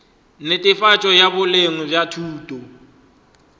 netefatšo ya boleng bja thuto